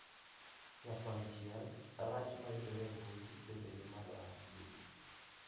Nyakonchiel, rach ma yudore e mbui bende ni malo ahinya.